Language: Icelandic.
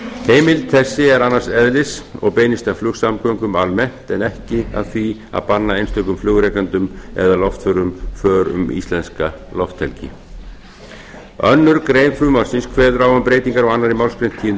heimild þessi er annars eðlis og beinist að flugsamgöngum almennt en ekki að því að banna einstökum flugrekendum eða loftförum för um íslenska lofthelgi annarrar greinar frumvarpsins kveður á um breytingar á annarri málsgrein tíundu